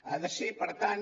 ha de ser per tant